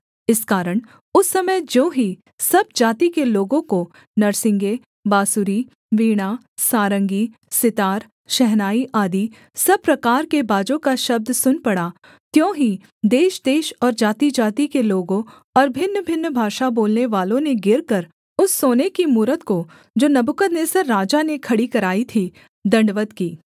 इस कारण उस समय ज्यों ही सब जाति के लोगों को नरसिंगे बाँसुरी वीणा सारंगी सितार शहनाई आदि सब प्रकार के बाजों का शब्द सुन पड़ा त्यों ही देशदेश और जातिजाति के लोगों और भिन्नभिन्न भाषा बोलनेवालों ने गिरकर उस सोने की मूरत को जो नबूकदनेस्सर राजा ने खड़ी कराई थी दण्डवत् की